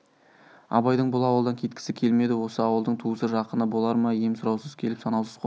абайдың бұл ауылдан кеткісі келмеді осы ауылдың туысы жақыны болар ма ем сұраусыз келіп санаусыз қонып